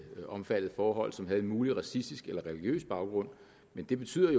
omfattede forhold som havde en mulig racistisk eller religiøs baggrund men det betyder